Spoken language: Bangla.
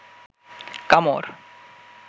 কামড়